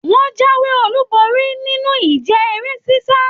Wọn jáwé olú borí nínú ìje eré sisa.